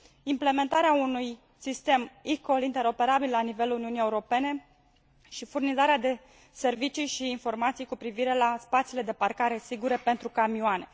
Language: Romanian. implementarea unui sistem interoperabil la nivelul Uniunii Europene și furnizarea de servicii și informații cu privire la spațiile de parcare sigure pentru camioane.